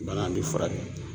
Bana bɛ furakɛ